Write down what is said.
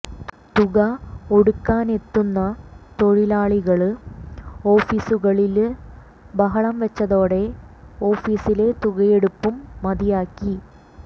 തുക ഒടുക്കാനെത്തുന്ന തൊഴിലാളികള് ഓഫീസുകളില് ബഹളം വച്ചതോടെ ഓഫീസിലെ തുകയെടുപ്പും മതിയാക്കി